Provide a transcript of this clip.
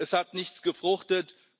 Es hat nichts gefruchtet.